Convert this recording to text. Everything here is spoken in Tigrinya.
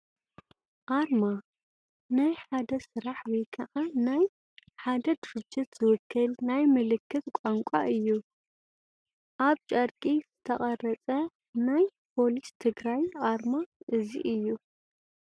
ኣርማ ፡- ናይ ሓደ ስራሕ ወይ ከዓ ናይ ሓደ ድርጅት ዝውክል ናይ ምልክት ቋንቋ እዩ፡፡ ኣብ ጨርቂ ዝተቐረፀ ናይ ፖሊስ ትግራይ ኣርማ እዚ እዩ፡፡